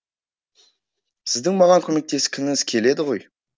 сіздің маған көмектескіңіз келеді ғой